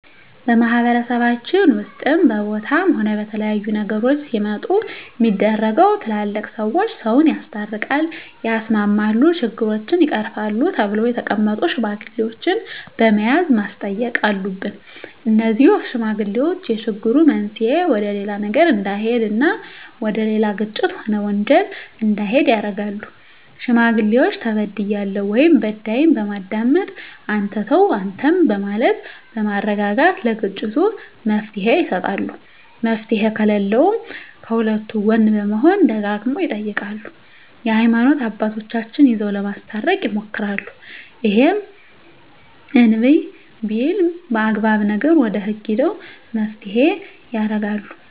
በማህበረሰባችን ውስጥም በቦታም ሆነ በተለያዩ ነገሮች ሲመጡ ሚደረገው ትላልቅ ሰዎች ሰውን ያስታርቃል ያስማማሉ ችግሮችን ይቀርፋሉ ተብለው የተቀመጡ ሽማግሌዎች በመያዝ ማስተየቅ አሉብን እነዜህ ሽማግሌዎች የችግሩ መንሰየ ወደሌላ ነገር እዳሄድ እና ወደሌላ ግጭት ሆነ ወንጀል እንዲሄድ ያረጋሉ ሽማግሌዎች ተበድያለሁ ወይም በዳይን በማዳመጥ አንተ ተው አንተም በማለት በማረጋጋት ለግጭቱ መፍትሔ ይሰጣሉ መፍትሔ ከለለውም ከሁለቱ ጎን በመሆን ደጋግመው ይጠይቃሉ የሀይማኖት አባቶቻቸው ይዘው ለማስታረቅ ይሞክራሉ እሄም እንብይ ቢልም አግባብ ነገር ወደ ህግ ሄደው መፋተየ ያረጋሉ